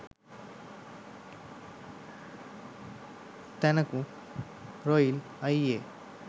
තැනකූ රොයිලි අයියේ